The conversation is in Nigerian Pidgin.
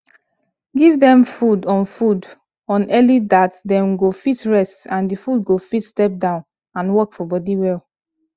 give them food on food on early dat them go fit rest and the food go fit step down and work for body well